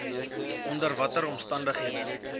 onder watter omstandighede